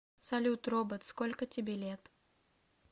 салют робот сколько тебе лет